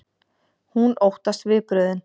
Hún óttast viðbrögðin.